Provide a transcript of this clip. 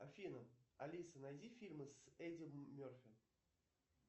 афина алиса найди фильмы с эди мерфи